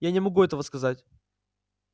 я не могу этого сказать